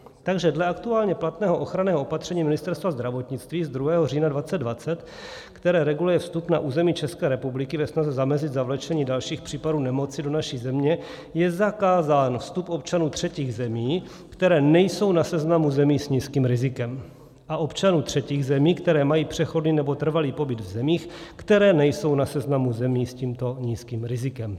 Takže dle aktuálně platného ochranného opatření Ministerstva zdravotnictví z 2. října 2020, které reguluje vstup na území České republiky ve snaze zamezit zavlečení dalších případů nemoci do naší země, je zakázán vstup občanů třetích zemí, které nejsou na seznamu zemí s nízkým rizikem, a občanů třetích zemí, kteří mají přechodný nebo trvalý pobyt v zemích, které nejsou na seznamu zemí s tímto nízkým rizikem.